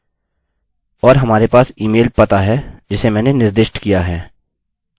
और हमारे पास ईमेल पता है जिसे मैंने निर्दिष्ट किया है